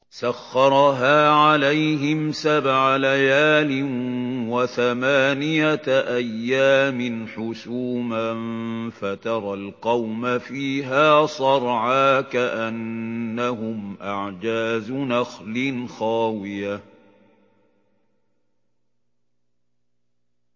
سَخَّرَهَا عَلَيْهِمْ سَبْعَ لَيَالٍ وَثَمَانِيَةَ أَيَّامٍ حُسُومًا فَتَرَى الْقَوْمَ فِيهَا صَرْعَىٰ كَأَنَّهُمْ أَعْجَازُ نَخْلٍ خَاوِيَةٍ